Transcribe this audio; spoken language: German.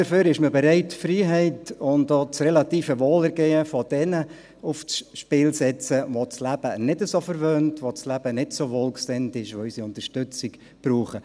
Dafür ist man bereit, die Freiheit und auch das relative Wohlergehen derer aufs Spiel zu setzen, die das Leben nicht so verwöhnt, denen das Leben nicht so wohlgesinnt ist, die unsere Unterstützung brauchen.